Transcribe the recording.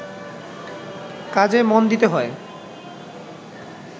কাজে মন দিতে হয়